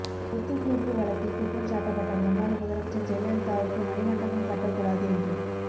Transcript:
சொத்துகுவிப்பு வழக்கில் குற்றம் சாட்டப்பட்ட முன்னாள் முதலமைச்சர் ஜெயலலிதாவுக்கு மணிமண்டபம் கட்டக்கூடாது என்று